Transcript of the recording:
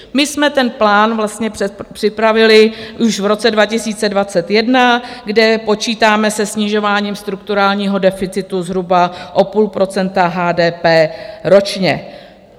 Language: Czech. My jsme ten plán vlastně připravili už v roce 2021, kde počítáme se snižováním strukturálního deficitu zhruba o půl procenta HDP ročně.